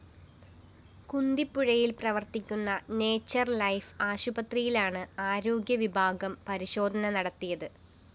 കുന്തിപ്പുഴയില്‍ പ്രവര്‍ത്തിക്കുന്ന nature life ആശുപത്രിയിലാണ് ആരോഗ്യവിഭാഗം പരിശോധന നടത്തിയത്